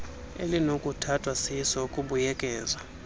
elinokuthathwa siso ukubuyekeza